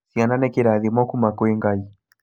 Ciana nĩ kĩrathimo kuma kwĩ Ngai